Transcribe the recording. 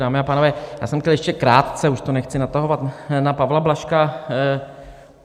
Dámy a pánové, já jsem chtěl ještě krátce, už to nechci natahovat, na Pavla Blažka.